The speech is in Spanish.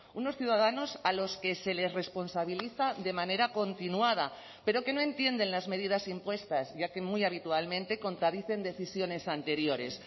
unos ciudadanos a los que se les responsabiliza de manera continuada pero que no entienden las medidas impuestas ya que muy habitualmente contradicen decisiones anteriores